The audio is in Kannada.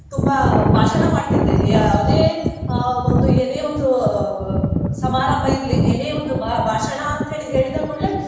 ತುಂಬಾ ಭಾಷಣ ಮಾಡ್ತಿದ್ದೆ ಯಾವುದೇ ಅಹ್ ಒಂದು ಏನೆ ಒಂದು ಅಹ್ ಸಮಾರಂಭ ಇರ್ಲಿ ಏನೇ ಒಂದು ಭಾ~ ಭಾಷಣ ಅಂತ ಹೇಳಿದ ಕೂಡ್ಲೆ